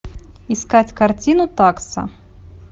искать картину такса